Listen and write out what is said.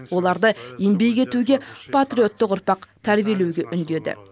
оларды еңбек етуге патриотты ұрпақ тәрбиелеуге үндеді